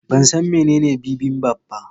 Ban san menene bibimbap ba.